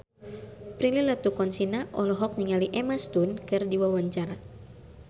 Prilly Latuconsina olohok ningali Emma Stone keur diwawancara